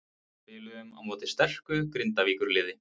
Spiluðum á móti sterku Grindavíkurliði.